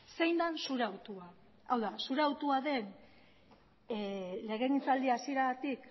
zein den zure hautua hau da zure hautua den legegintzaldia hasieratik